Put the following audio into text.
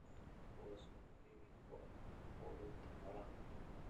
kuwaas oo muhiim u ah quudinta xoolaha.